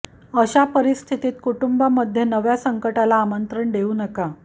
अशा परिस्थितीत कुटुंबांमध्ये नव्या संकटाला आमंत्रण देऊ नका